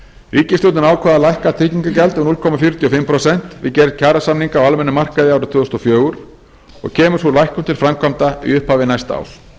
ríkisstjórnin ákvað að lækka tryggingagjald um núll komma fjörutíu og fimm prósent við gerð kjarasamninga á almennum markaði árið tvö þúsund og fjögur og kemur sú lækkun til framkvæmda í upphafi næsta árs